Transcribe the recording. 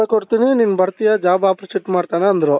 ನೀನು ಬರ್ತೀಯ job opportunity ಮಾಡ್ತಾನೆ ಅಂದ್ರೆ